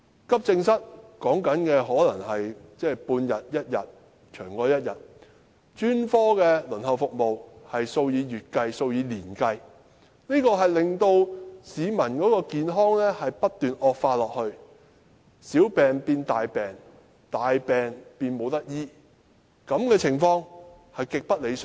急症室輪候的時間可能是半天或一天，甚或長過一天，而專科服務的輪候時間則是數以月計、數以年計，令市民的健康不斷惡化，小病變大病，大病變無法治癒，這情況極不理想。